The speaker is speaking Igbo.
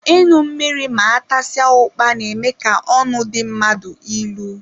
Ịṅụ mmiri ma atasia ukpa n'eme ka ọnụ dị mmadụ ịlụ